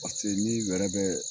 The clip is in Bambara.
ni wɛrɛ bɛ